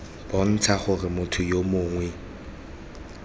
bontsha gore motho yo mongwe